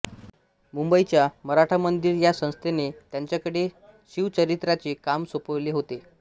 मुंबईच्या मराठा मंदिर ह्या संस्थेने त्यांच्याकडे शिवचरित्राचे काम सोपवले होते